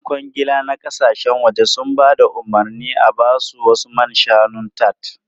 Yan kwangila na kasashen waje sun ba da umarnin a ba su wasu man shanun tart.